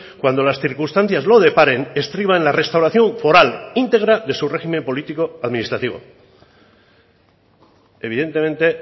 cuando las circunstancias lo deparen estriba en la restauración foral integra de su régimen político administrativo evidentemente